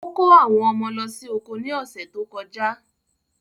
Ó kó àwọn ọmọ lọ sí oko ni ọ̀ṣẹ̀ tó kọjà.